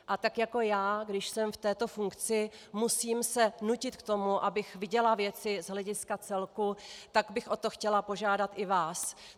A tak jako já, když jsem v této funkci, musím se nutit k tomu, abych viděla věci z hlediska celku, tak bych o to chtěla požádat i vás.